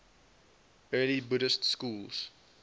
early buddhist schools